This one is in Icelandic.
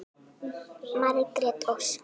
Ég elska þig alltaf.